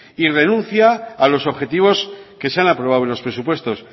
y renuncia a los objetivos que se han aprobado en los presupuestos